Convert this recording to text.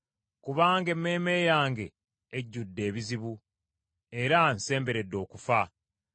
Kubanga emmeeme yange ejjudde ebizibu, era nsemberedde okufa.